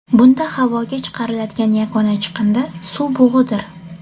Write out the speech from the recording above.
Bunda havoga chiqariladigan yagona chiqindi suv bug‘idir.